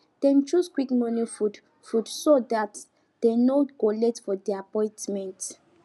dem choose quick morning food food so that dem no go late for their appointments